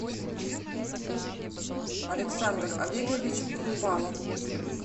александр олегович хрупалов